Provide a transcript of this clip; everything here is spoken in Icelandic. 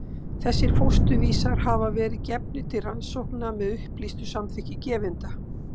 Þessir fósturvísar hafa verið gefnir til rannsókna með upplýstu samþykki gefenda.